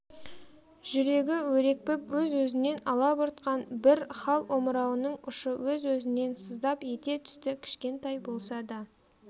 жүрегі өрекпіп өзі-өзінен алабұртқан бір хал омырауының ұшы өз-өзінен сыздап ете түсті кішкентай болса да